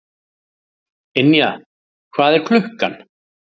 Ynja, hvað er klukkan?